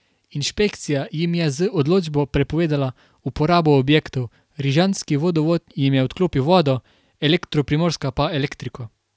Inšpekcija jim je z odločbo prepovedala uporabo objektov, Rižanski vodovod jim je odklopil vodo, Elektro Primorska pa elektriko.